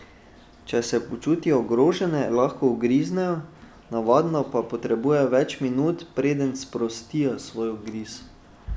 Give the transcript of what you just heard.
Če se počutijo ogrožene, lahko ugriznejo, navadno pa potrebujejo več minut, preden sprostijo svoj ugriz.